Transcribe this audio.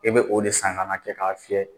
E bɛ o de san ka n'a kɛ k'a fiyɛ.